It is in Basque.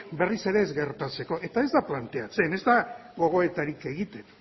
berriz ere ez gertatzeko eta ez da planteatzen ez da gogoetarik egiten